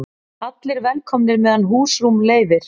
Allir velkomnir meðan húsrúm leyfir